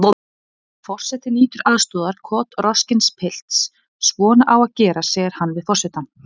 Forseti nýtur aðstoðar kotroskins pilts: Svona á að gera segir hann við forsetann.